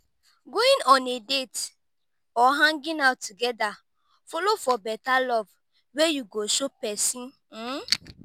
going on a date or hanging out together follow for beta love wey you go show pesin. um